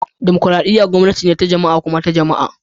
Dimokuradiyya gwamnati ce ta jama'a kuma ta jama'a